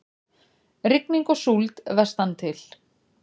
Rigning og súld vestantil